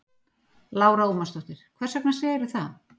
Lára Ómarsdóttir: Hvers vegna segirðu það?